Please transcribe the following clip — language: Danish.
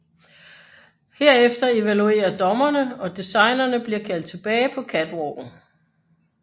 Herefter evaluerer dommerne og designerne bliver kaldt tilbage på catwalken